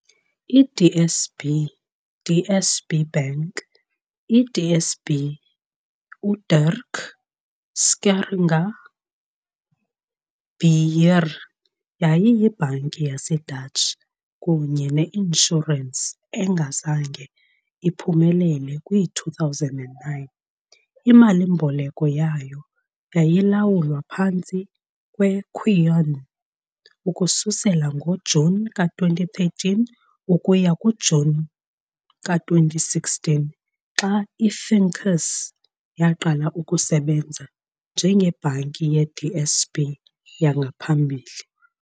I-DSB, DSB Bank, i-DSB, uDirk Scheringa Beheer, yayiyibhanki yaseDutch kunye ne-inshurensi engazange iphumelele kwi-2009. Imali-mboleko yayo yayilawulwa phantsi kweQuion ukususela ngoJuni ka-2013 ukuya kuJuni ka-2016 xa i-Finqus yaqala ukusebenza njengeBhanki ye-DSB yangaphambili.